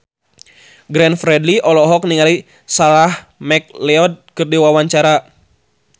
Glenn Fredly olohok ningali Sarah McLeod keur diwawancara